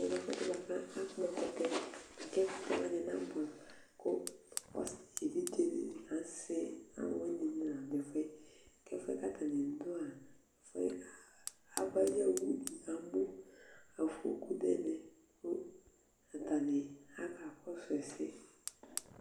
ɛmɛ lɛ ɛfu yɛ boa kò akpɔ ɛkutɛ k'ɛkutɛ wani ɛdi na boɛ amo kò ɔsi evidze di ni ka sɛ alowini ni la do ɛfu yɛ k'ɛfu yɛ k'atani do yɛ ɛfu yɛ ava ayi owu do amo afɔku n'ɛmɛ kò atani aka kɔsu ɛsɛ